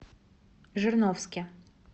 жирновске